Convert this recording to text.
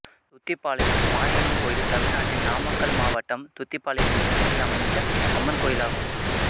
துத்திப்பாளையம் மாரியம்மன் கோயில் தமிழ்நாட்டில் நாமக்கல் மாவட்டம் துத்திப்பாளையம் என்னும் ஊரில் அமைந்துள்ள அம்மன் கோயிலாகும்